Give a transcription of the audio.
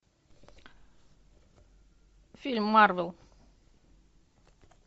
фильм марвел